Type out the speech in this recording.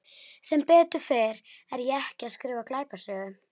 Sem betur fer er ég ekki að skrifa glæpasögu.